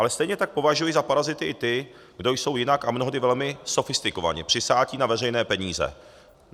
Ale stejně tak považuji za parazity i ty, kdo jsou jinak a mnohdy velmi sofistikovaně přisáti na veřejné peníze.